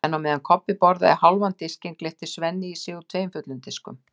En á meðan Kobbi borðaði hálfan disk gleypti Svenni í sig úr tveimur fullum diskum.